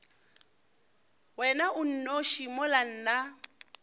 wena o nnoši mola nna